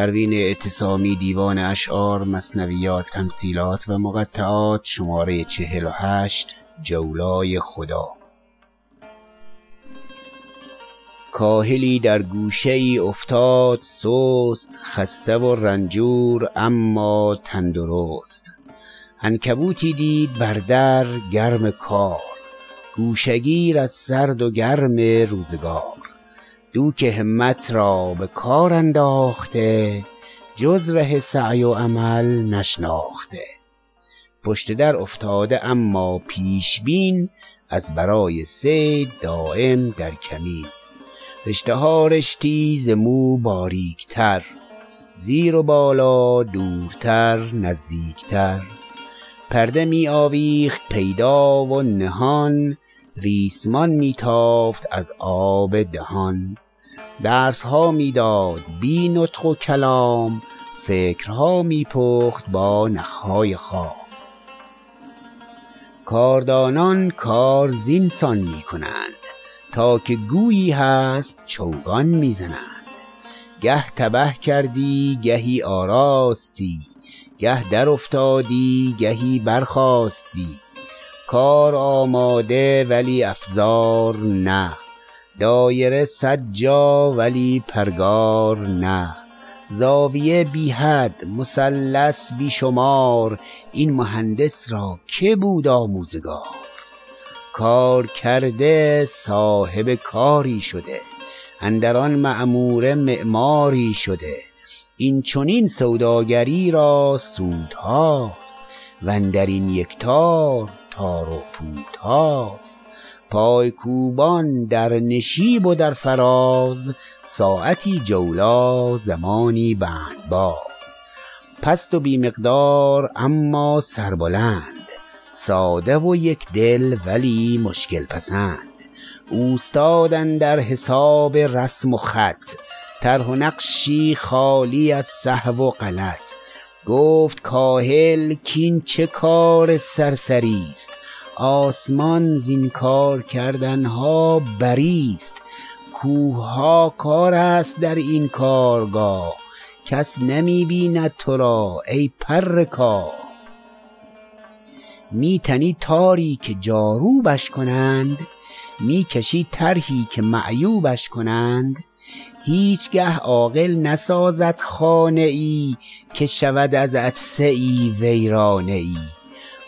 کاهلی در گوشه ای افتاد سست خسته و رنجور اما تندرست عنکبوتی دید بر در گرم کار گوشه گیر از سرد و گرم روزگار دوک همت را به کار انداخته جز ره سعی و عمل نشناخته پشت در افتاده اما پیش بین از برای صید دایم در کمین رشته ها رشتی ز مو باریکتر زیر و بالا دورتر نزدیکتر پرده می ویخت پیدا و نهان ریسمان می تافت از آب دهان درس ها می داد بی نطق و کلام فکرها می پخت با نخ های خام کاردانان کار زین سان می کنند تا که گویی هست چوگان می زنند گه تبه کردی گهی آراستی گه درافتادی گهی برخاستی کار آماده ولی افزار نه دایره صد جا ولی پرگار نه زاویه بی حد مثلث بی شمار این مهندس را که بود آموزگار کار کرده صاحب کاری شده اندر آن معموره معماری شده این چنین سوداگری را سودهاست وندرین یک تار تار و پودهاست پای کوبان در نشیب و در فراز ساعتی جولا زمانی بندباز پست و بی مقدار اما سربلند ساده و یک دل ولی مشکل پسند اوستاد اندر حساب رسم و خط طرح و نقشی خالی از سهو و غلط گفت کاهل کاین چه کار سرسری ست آسمان زین کار کردنها بری ست کوه ها کارست در این کارگاه کس نمی بیند ترا ای پر کاه می تنی تاری که جاروبش کنند می کشی طرحی که معیوبش کنند هیچ گه عاقل نسازد خانه ای که شود از عطسه ای ویرانه ای